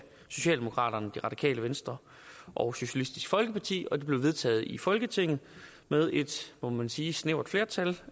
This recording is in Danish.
socialdemokraterne det radikale venstre og socialistisk folkeparti og det blev vedtaget i folketinget med et må man sige snævert flertal